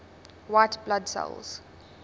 white blood cells